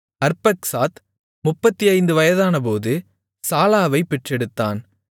அர்பக்சாத் 35 வயதானபோது சாலாவைப் பெற்றெடுத்தான்